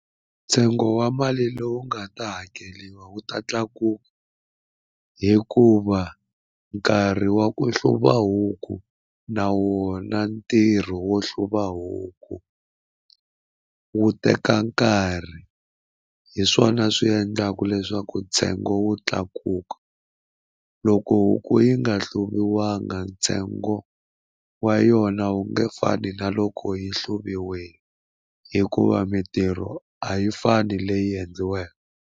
Ntsengo wa mali lowu nga ta hakeriwa wu ta tlakuka hikuva nkarhi wa ku hluva huku na wona ntirho wo hluva huku wu teka nkarhi hi swona swi endlaka leswaku ntsengo wu tlakuka loko huku yi nga hluviwanga ntsengo wa yona wu nge fani na loko yi hluviwile hikuva mitirho a yi fani leyi endliweke.